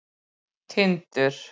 Tindur